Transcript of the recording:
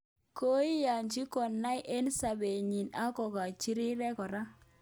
Koigachi konaak eng sabet nyi ak kokachi rirek kora